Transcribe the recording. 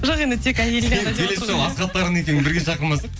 жоқ енді тек әйеліне сені келесі жолы бірге шақырмасақ